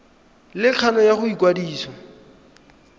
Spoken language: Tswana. le kgano ya go ikwadisa